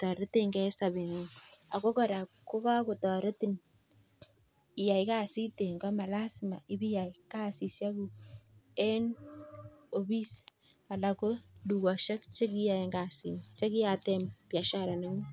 taretin koraa iyaa kasit eng gaa nemewendi ofis